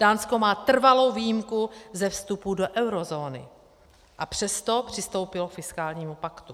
Dánsko má trvalou výjimku ze vstupu do eurozóny, a přesto přistoupilo k fiskálnímu paktu.